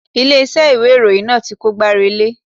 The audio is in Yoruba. Ilé iṣẹ́ ìwé ìròyìn náà ti kó gbá relé.